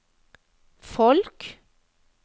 folk